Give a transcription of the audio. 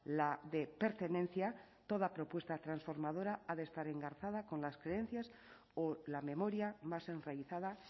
la de pertenencia toda propuesta transformadora ha de estar engarzada con las creencias o la memoria más enraizada